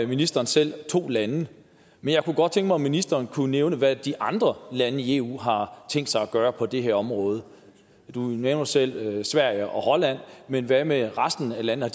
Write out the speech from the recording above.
ministeren selv to lande men jeg kunne godt tænke mig om ministeren kunne nævne hvad de andre lande i eu har tænkt sig at gøre på det her område du nævner selv sverige og holland men hvad med resten af landene